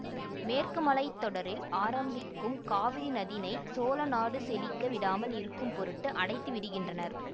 மேற்கு மழைத் தொடரில் ஆரம்பிக்கும் காவிரி நதினை சோழ நாடு செழிக்க விடாமல் இருக்கும் பொருட்டு அடைத்து விடுகின்றனர்